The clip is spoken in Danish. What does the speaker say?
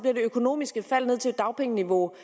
økonomiske fald ned til dagpengeniveau